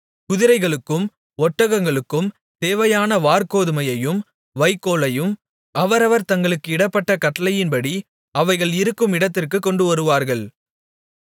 குதிரைகளுக்கும் ஒட்டகங்களுக்கும் தேவையான வாற்கோதுமையையும் வைக்கோலையும் அவரவர் தங்களுக்கு இடப்பட்ட கட்டளையின்படி அவைகள் இருக்கும் இடத்திற்குக் கொண்டுவருவார்கள்